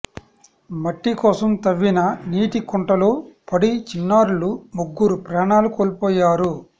మట్టి కోసం తవ్విన నీటి కుంటలో పడి చిన్నారులు ముగ్గురు ప్రాణాలు కోల్పోయారు